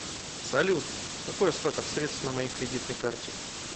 салют какой остаток средств на моей кредитной карте